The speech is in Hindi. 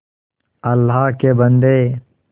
अल्लाह के बन्दे